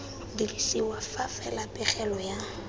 dirisiwa fa fela pegelo ya